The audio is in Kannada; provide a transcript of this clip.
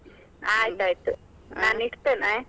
ಆಯ್ತಾಯ್ತು, ನಾನ್ ಇಡ್ತೆನೆ.